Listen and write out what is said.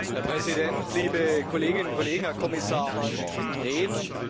Herr Präsident, liebe Kolleginnen und Kollegen, Herr Kommissar Rehn!